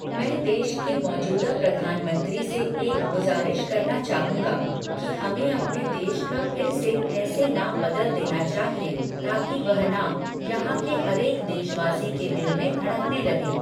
मैं देश के मौजूदा प्रधानमंत्री से एक गुज़ारिश करना चाहूंगा कि हमें अपने देश का फिर से ऐसे नाम बदल देना चाहिए ताकि वह नाम यहां के हरेक देशवासी के दिल में धडक़ने लगे।